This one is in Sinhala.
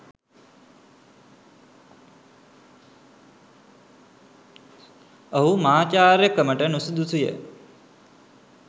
ඔහු මහාචාර්යකමට නුසුදුසුය.